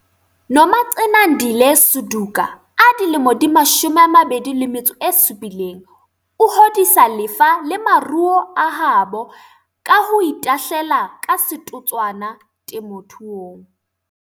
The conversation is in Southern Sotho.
Nomagcinandile Suduka, 27, o hodisa lefa le maruo a habo ka ho itahlela ka setotswana temothuong.